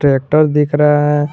Status दिख रहा है।